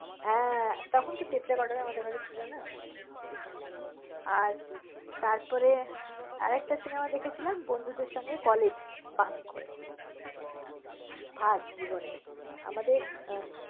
হ্যাঁ তখন তো tape recorder আমাদের ঘরে ছিল না। আর তারপরে আরেকটা cinema দেখেছিলাম বন্ধুদের সঙ্গে college bunk করে। first জীবনে। আমাদের আহ